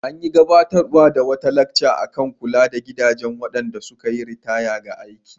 An gabatar da wata lacca kan kula da gidajen waɗanda suka yi ritaya daga aiki.